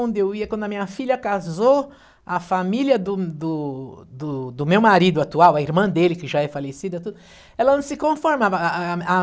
Onde eu ia, quando a minha filha casou, a família do do do do meu marido atual, a irmã dele, que já é falecida, ela não se conformava. A a a